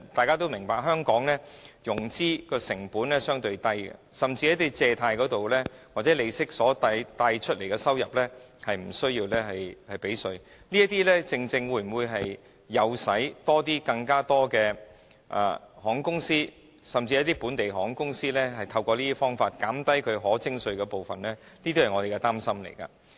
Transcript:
眾所周知，香港的融資成本相對較低，甚至從借貸及利息得到的收入亦無須繳稅，這會否誘使更多航空公司，甚至本地航空公司透過此一途徑減少其可徵稅部分的收入呢？